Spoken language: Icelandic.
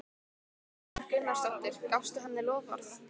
Erla Björg Gunnarsdóttir: Gafstu henni loforð?